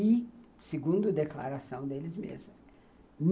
e segundo declaração deles mesmas.